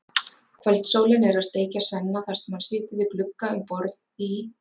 Kvöldsólin er að steikja Svenna þar sem hann situr við glugga um borð í